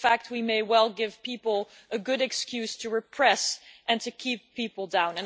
In fact we may well give people a good excuse to repress and to keep people down.